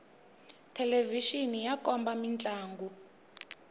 thelevixini ya komba mintlangu